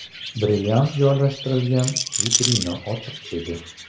Brilliant joylashtirilgan vitrina ochiq edi.